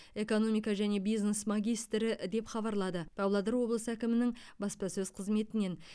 экономика және бизнес магистрі деп хабарлады павлодар облысы әкімінің баспасөз қызметінен